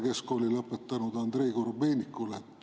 Keskkooli lõpetanud Andrei Korobeinikule.